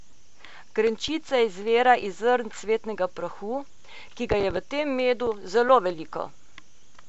Grenčica izvira iz zrnc cvetnega prahu, ki ga je v tem medu zelo veliko.